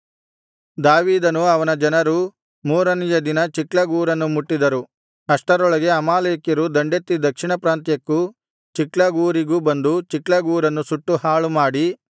ದಾವೀದನೂ ಅವನ ಜನರೂ ಮೂರನೆಯ ದಿನ ಚಿಕ್ಲಗ್ ಊರನ್ನು ಮುಟ್ಟಿದರು ಅಷ್ಟರೊಳಗೆ ಅಮಾಲೇಕ್ಯರು ದಂಡೆತ್ತಿ ದಕ್ಷಿಣ ಪ್ರಾಂತ್ಯಕ್ಕೂ ಚಿಕ್ಲಗ್ ಊರಿಗೂ ಬಂದು ಚಿಕ್ಲಗ್ ಊರನ್ನು ಸುಟ್ಟು ಹಾಳುಮಾಡಿ